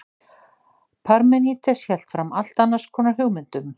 parmenídes hélt fram allt annars konar hugmyndum